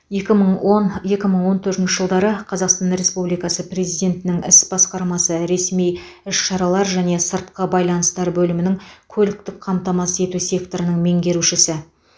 екі мың он екі мың он төртінші жылдары қазақстан республикасы президентінің іс басқармасы ресми іс шаралар және сыртқы байланыстар бөлімінің көліктік қамтамасыз ету секторының меңгерушісі